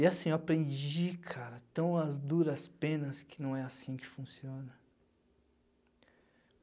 E, assim, eu aprendi, cara, tão as duras penas que não é assim que funciona.